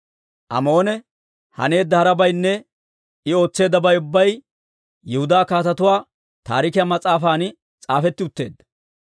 Amoone haneedda harabaynne I ootseeddabay ubbay Yihudaa Kaatetuu Taarikiyaa mas'aafan s'aafetti utteedda.